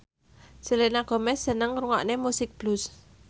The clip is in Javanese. Selena Gomez seneng ngrungokne musik blues